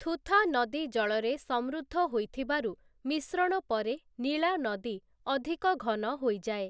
ଥୂଥା ନଦୀ ଜଳରେ ସମୃଦ୍ଧ ହୋଇଥିବାରୁ ମିଶ୍ରଣ ପରେ ନୀଳା ନଦୀ ଅଧିକ ଘନ ହୋଇଯାଏ ।